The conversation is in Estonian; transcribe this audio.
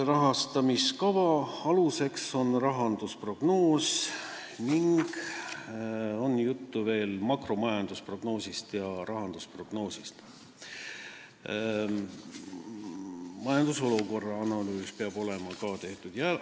Rahastamiskava aluseks on rahandusprognoos ning juttu on veel makromajandusprognoosist ja rahandusprognoosist, majandusolukorra analüüs peab ka olema tehtud.